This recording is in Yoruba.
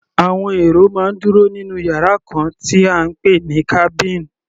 Àwọn èrò máa ń dúró nínú yàrá kan tí à ń pè ní cabin.